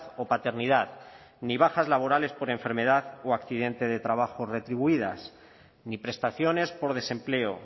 o paternidad ni bajas laborales por enfermedad o accidente de trabajo retribuidas ni prestaciones por desempleo